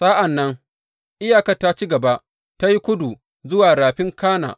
Sa’an nan iyakar ta ci gaba ta yi kudu zuwa Rafin Kana.